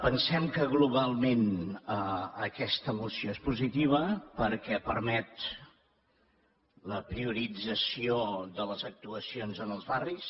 pensem que globalment aquesta moció és positiva perquè permet la priorització de les actuacions en els barris